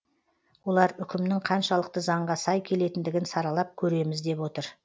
олар үкімнің қаншалықты заңға сай келетіндігін саралап көреміз деп отыр